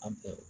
An bɛɛ